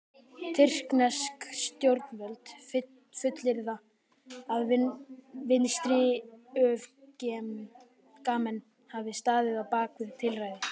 Tyrknesk stjórnvöld fullyrða að vinstriöfgamenn hafi staðið á bak við tilræðið.